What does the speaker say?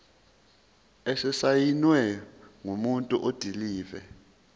esisayinwe ngumuntu odilive